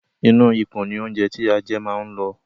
Inú ikùn ní óńjẹ tí a jẹ máa ń lọ.